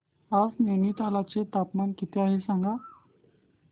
आज नैनीताल चे तापमान किती आहे सांगा